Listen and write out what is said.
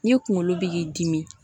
N'i kunkolo bɛ k'i dimi